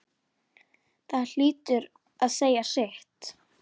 Það hlýtur að segja sitt.